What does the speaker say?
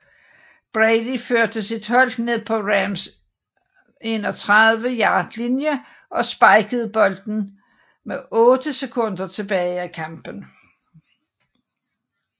Brady førte sit hold ned på Rams 31 yard linje og spikede bolden med 8 sekunder tilbage af kampen